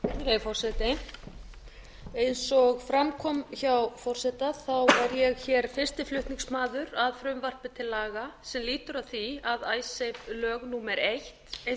virðulegi forseti eins og fram kom hjá forseta er ég fyrsti flutningsmaður að frumvarpi til laga sem lýtur að því að icesave lög númer eitt eins og þau eru kölluð